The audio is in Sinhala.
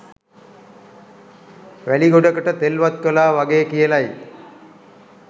වැලි ගොඩකට තෙල් වත්කළා වගේ කියලයි.